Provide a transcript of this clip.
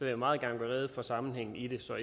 jeg meget gerne gøre rede for sammenhængen i det så